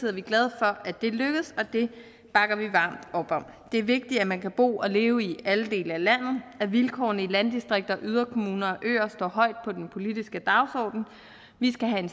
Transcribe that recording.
er vi glade for at det er lykkedes og det bakker vi varmt op om det er vigtigt at man kan bo og leve i alle dele af landet og at vilkårene i landdistrikter og yderkommuner og på øer står højt på den politiske dagsorden vi skal have en